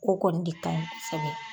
O kɔni de ka ɲi kosɛbɛ.